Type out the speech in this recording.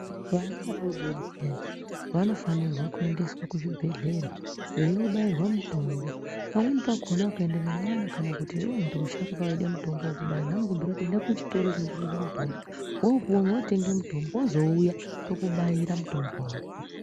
Vana vadoodori vayani vanofanirwa kuendeswa kuchibhedhlera veino bayirwa mitombo pamweni pakona ukaenda nekwana kana kuti muntu wemusharukwa eide kobairwa vanokubhuyire kuti enda kuchitoro chinotengese mutombo wotenge mutombo wozouya tokubaira mutombo wako.